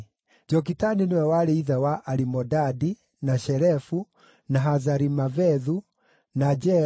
Jokitani nĩwe warĩ ithe wa Alimodadi, na Shelefu, na Hazarimavethu, na Jera,